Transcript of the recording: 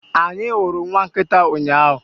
Anyị hụrụ nwa nkịta ụnyaahụ